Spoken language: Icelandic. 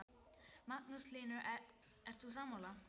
Magnús Hlynur: Ert þú sammála?